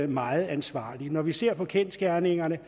meget ansvarlig når vi ser på kendsgerningerne